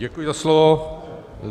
Děkuji za slovo.